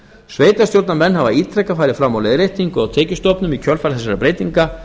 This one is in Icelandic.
sveitarstjórnarmenn hafa ítrekað farið fram á leiðréttingu á tekjustofnum í kjölfar þessara breytinga